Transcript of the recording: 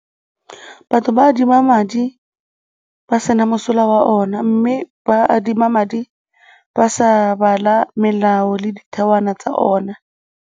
Batho ba adima madi ba sena mosola wa ona mme ba adima madi ba sa bala melao le dithewana tsa ona.